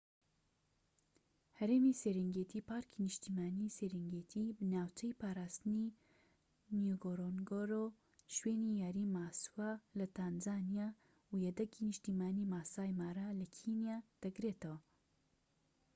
هەرێمی سێرێنگێتی پارکی نیشتمانی سیرنگێتی ناوچەی پاراستنی نیگۆرۆنگۆرۆ و شوێنی یاری ماسوا لە تانزانیا و یەدەگی نیشتیمانی ماسای مارا لە کینیا دەگرێتەوە